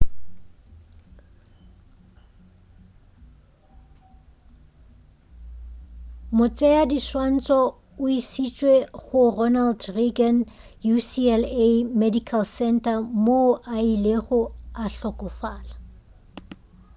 motšeadiswantšho o išitšwe go ronald reagan ucla medical center moo a ilego a hlokofala